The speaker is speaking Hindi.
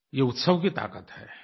ये उत्सव की ताक़त है